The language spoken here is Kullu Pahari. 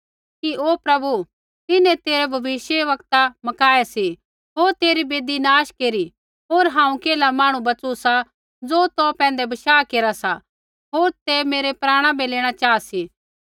कि ओ प्रभु तिन्हैं तेरै भविष्यवक्ता मकाऐ सी होर तेरी वेदी नाश केरी होर हांऊँ केल्हा मांहणु बच़ू सा ज़ो तौ पैंधै बशाह केरा सा होर तै मेरै प्राणा बै लेणा चाहा सी